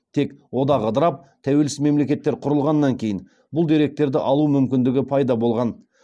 тек одақ ыдырап тәуелсіз мемлекеттер құрылғаннан кейін бұл деректерді алу мүмкіндігі пайда болған